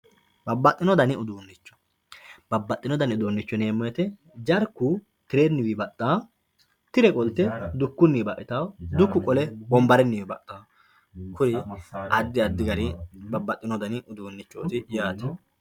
babbaxxino dani uduunnicho babbaxxino dani uduunnicho yineemmo woyiite jarku tirenniwi baxxawoo tire qolte dukkunniwi baxxitawoo dukku qole wonbarenniwi baxxawoo kuri addi addi gari babbaxxino dani uduunnichooti yaate.